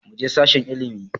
Muje sashen ilimi